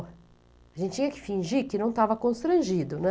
A gente tinha que fingir que não estava constrangido, né?